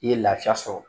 I ye lafiya sɔrɔ